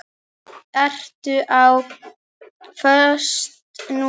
Ertu á föstu núna?